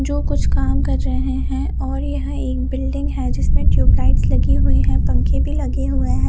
जो कुछ काम कर रहे है और यह एक बिल्डिंग है जिसमे टिउबलाइट्स लगी हुई है पंखे भी लगे हुए है।